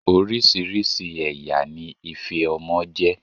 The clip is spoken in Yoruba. Oríṣiríṣi ẹ̀yà ni ife ọmọ jẹ́.